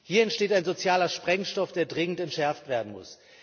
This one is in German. Hier entsteht ein sozialer Sprengstoff, der dringend entschärft werden muss.